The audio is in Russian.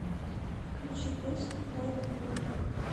включи песню дай нам боже